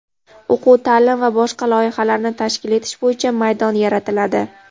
o‘quv-taʼlim va boshqa loyihalarni tashkil etish bo‘yicha maydon yaratiladi.